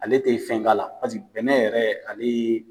Ale tɛ fɛn k'a la pasiki bɛnɛ yɛrɛ ale